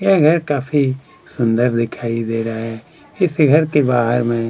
यह घर काफी सुंदर दिखाई दे रहा है इस घर के बाहर में--